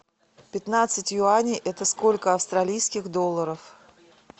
пятнадцать юаней это сколько австралийских долларов